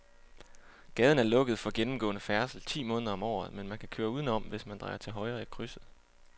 Gaden er lukket for gennemgående færdsel ti måneder om året, men man kan køre udenom, hvis man drejer til højre i krydset.